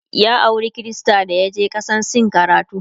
ya aura Krista dayaje kasan sin karatu